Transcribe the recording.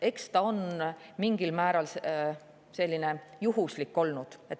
Eks see on mingil määral selline juhuslik olnud.